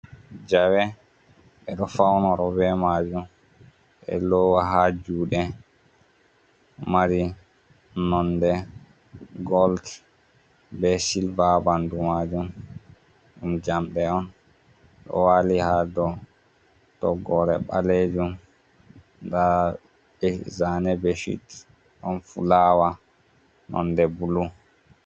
Jawe, ɓe ɗo faunoro be majum, ɓe lowa ha juɗe, mari nonde gol be silva habandu majun, ɗum jamɗe on, ɗo wali ha dow toggore ɓalejum, nda be zane bechit, ɗon fulawa nonde bulu.